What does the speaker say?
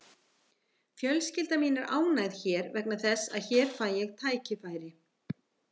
Fjölskylda mín er ánægð hér vegna þess að hér fæ ég tækifæri.